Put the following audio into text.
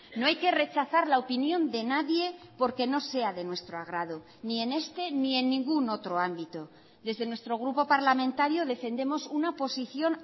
no hay que rechazar la opinión de nadie porque no sea de nuestro agrado ni en este ni en ningún otro ámbito desde nuestro grupo parlamentario defendemos una posición